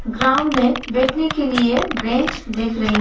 Ground में बैठने के लिए ब्रेंच देख रही हूँ।